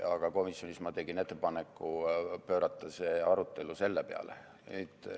Aga komisjonis ma tegin ettepaneku pöörata see arutelu sellele.